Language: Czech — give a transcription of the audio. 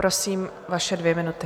Prosím, vaše dvě minuty.